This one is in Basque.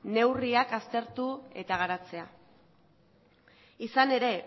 neurriak aztertu eta garatzea izan ere